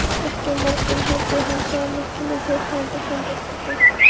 Ekki á morgun heldur hinn sagði Nikki með tilheyrandi handapati.